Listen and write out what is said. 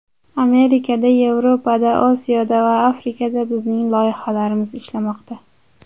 Amerikada, Yevropada, Osiyoda va Afrikada bizning loyihalamiz ishlamoqda.